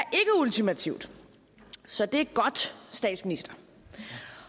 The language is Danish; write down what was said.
ultimativt så det er godt statsminister det